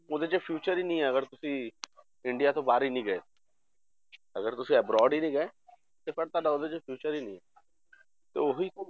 ਉਹਦੇ 'ਚ future ਹੀ ਨੀ ਅਗਰ ਤੁਸੀਂ ਇੰਡੀਆ ਤੋਂ ਬਾਹਰ ਹੀ ਨੀ ਗਏ ਅਗਰ ਤੁਸੀਂ abroad ਹੀ ਨੀ ਗਏ ਤੇ ਪਰ ਤੁਹਾਡਾ ਉਹਦੇ 'ਚ future ਹੀ ਨੀ ਹੈ ਤੇ ਉਹੀ